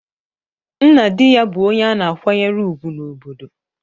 Nna di ya bụ onye a na-akwanyere ùgwù n’obodo.